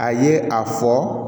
A ye a fɔ